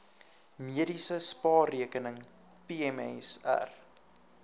mediese spaarrekening pmsr